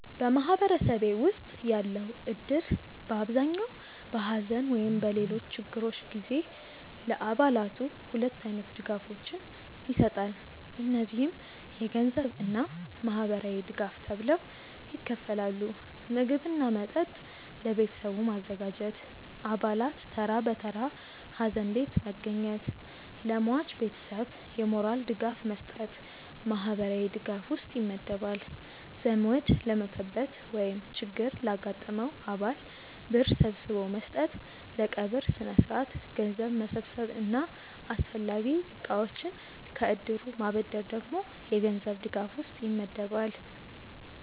በማህበረሰቤ ውስጥ ያለው እድር በአብዛኛው በሐዘን ወይም በሌሎች ችግሮች ጊዜ ለአባላቱ ሁለት አይነት ድጋፎችን ይሰጣል። እነዚህም የገንዘብ እና ማህበራዊ ድጋፍ ተብለው ይከፈላሉ። ምግብ እና መጠጥ ለቤተሰቡ ማዘጋጀት፣ አባላት ተራ በተራ ሀዘን ቤት መገኘት፣ ለሟች ቤተሰብ የሞራል ድጋፍ መስጠት ማህበራዊ ድጋፍ ውስጥ ይመደባል። ዘመድ ለሞተበት ወይም ችግር ላጋጠመው አባል ብር ሰብስቦ መስጠት፣ ለቀብር ስነስርዓት ገንዘብ መሰብሰብ እና አስፈላጊ እቃዎችን ከእድሩ ማበደር ደግሞ የገንዘብ ድጋፍ ውስጥ ይመደባል።